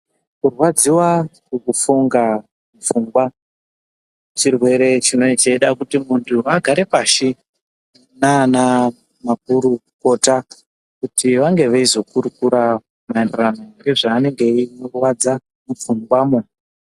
Kurwadziwa nekufunga pfungwa chirwere chinenge cheida kuti muntu agare pashi nana makurukota kuti vange veyi zokurukura nezvinenge zveyi murwadza mupfungwa mo.